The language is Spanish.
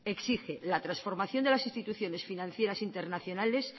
exige la transformación de las instituciones financieras internacionales